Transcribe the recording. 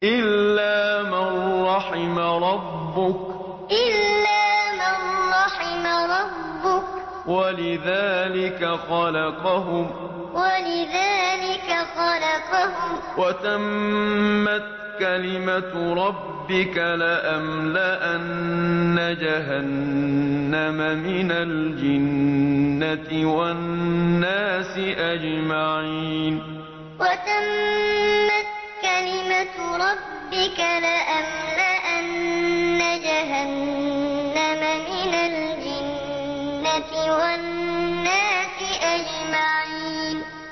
إِلَّا مَن رَّحِمَ رَبُّكَ ۚ وَلِذَٰلِكَ خَلَقَهُمْ ۗ وَتَمَّتْ كَلِمَةُ رَبِّكَ لَأَمْلَأَنَّ جَهَنَّمَ مِنَ الْجِنَّةِ وَالنَّاسِ أَجْمَعِينَ إِلَّا مَن رَّحِمَ رَبُّكَ ۚ وَلِذَٰلِكَ خَلَقَهُمْ ۗ وَتَمَّتْ كَلِمَةُ رَبِّكَ لَأَمْلَأَنَّ جَهَنَّمَ مِنَ الْجِنَّةِ وَالنَّاسِ أَجْمَعِينَ